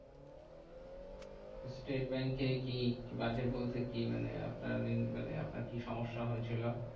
State ব্যাঙ্কে কি বাজে বলতে কি? মানে আপনার মানে আপনার কি সমস্যা হয়েছিল?